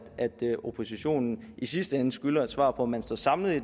oppositionen i sidste ende skylder et svar på om man står samlet i